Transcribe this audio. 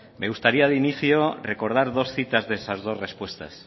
me gustaría de inicio recordar dos citas de esas dos respuestas